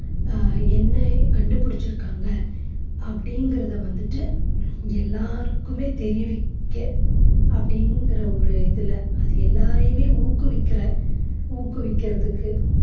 ஆஹ் என்ன கண்டுபிடிச்சு இருக்காங்க அப்படிங்கிறத வந்துட்டு எல்லாருக்குமே தெரிவிக்க அப்படிங்கற ஒரு இதுல அது எல்லாரையுமே ஊக்குவிக்கிற ஊக்குவிக்கிறதுக்கு